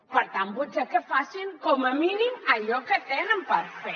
per tant potser que facin com a mínim allò que tenen per fer